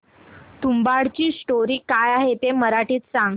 तुंबाडची स्टोरी काय आहे ते मराठीत सांग